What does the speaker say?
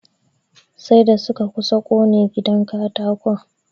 Sai da suka kusa ƙone gidan katakon.